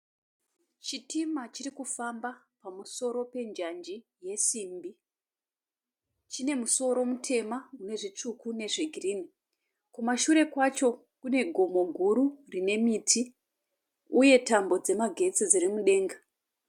Chitima chirikufamba pamusoro penjanji yesimbi. Chine musoro mutema inezvitsvuku nezvegirinhi. Kumashure kwacho kune gomo guru rinemiti, uye tambo dzemagetsi dzirimudanga.